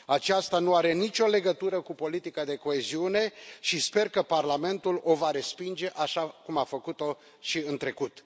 Aceasta nu are nicio legătură cu politica de coeziune și sper că Parlamentul o va respinge, așa cum a făcut o și în trecut.